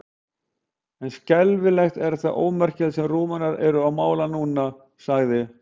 En skelfing er það ómerkilegt sem Rúmenar eru að mála núna, sagði